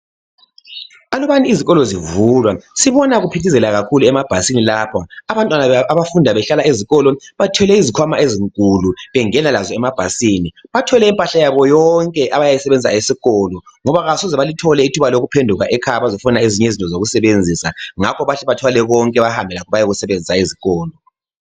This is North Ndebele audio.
Alubanizikolo zivulwa sibona kuphithizela kakhulu emabhasini lapho abantwana abafunda behlala ezikolo bathwele izikhwama ezinkulu bengenalazo emabhasini, bathwele impahla yaboyonke abayisebenzisa esikolo ngoba kabasoze balithole ithuba lokuphenduka ekhaya bazofuna ezinye izinto zokusebenzisa ngakho bahle bathwale konke bahambe lakho bayekusebenzisa ezikolo.